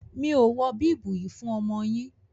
Mi o wọ bíbùù yíì fún ọmọ yín.